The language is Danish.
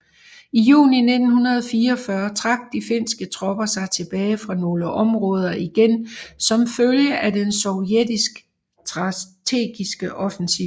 I juni 1944 trak de finske tropper sig tilbage fra nogle områder igen som følge af den sovjetiske strategiske offensiv